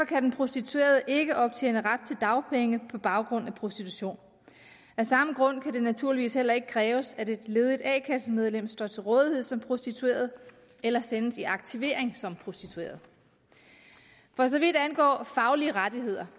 kan den prostituerede ikke optjene ret til dagpenge på baggrund af prostitution af samme grund kan det naturligvis heller ikke kræves at et ledigt a kassemedlem står til rådighed som prostitueret eller sendes i aktivering som prostitueret for så vidt angår faglige rettigheder